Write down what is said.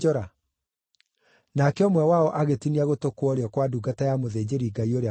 Nake ũmwe wao agĩtinia gũtũ kwa ũrĩo kwa ndungata ya mũthĩnjĩri-Ngai ũrĩa mũnene.